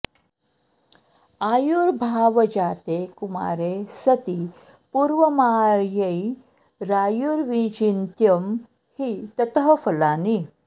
आयुर्भाव जाते कुमारे सति पूर्वमार्यै रायुर्विचिन्त्यं हि ततः फलानि